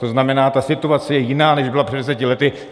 To znamená, ta situace je jiná, než byla před deseti lety.